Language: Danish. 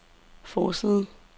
forside